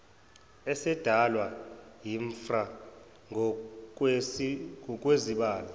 esadalwa yimpra ngokwezibalo